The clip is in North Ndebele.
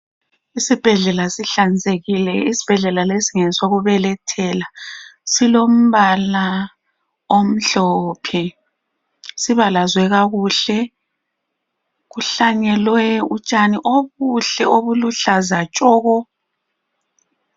Isibhedlela sihlanzekile, isibhedlela lesi ngesokubelethela. Silombala omhlophe, sibalazwe kakuhle. Kuhlanyelwe utshani obuhle obuluhlaza tshoko.